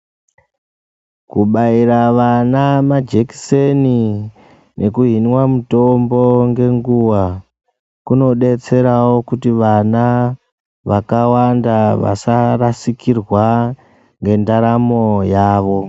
Kubaira vana majekiseni neku hinwa mitombo nge nguva kuno detserawo kuti vana vakawanda vasa rasikirwa nge ndaramo yavo.